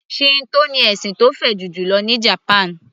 Shinto ní ẹ̀sìn tó fẹjú jùlọ ní japan